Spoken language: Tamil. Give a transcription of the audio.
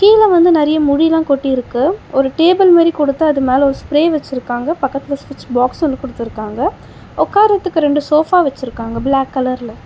கீழ வந்து நெறைய முடிலா கொட்டிருக்கு ஒரு டேபிள் மாரி கொடுத்து அது மேல ஒரு ஸ்ப்ரே வெச்சிருக்காங்க பக்கத்துல சுவிட்ச் பாக்ஸ் ஒன்னு குடுத்துருக்காங்க உக்காரதுக்கு ரெண்டு சோஃபா வெச்சிருக்காங்க ப்ளாக் கலர்ல .